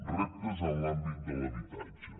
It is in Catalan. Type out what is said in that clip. reptes en l’àmbit de l’habitatge